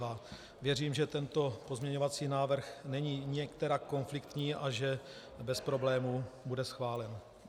Věřím, že tento pozměňovací návrh není nikterak konfliktní a že bez problémů bude schválen.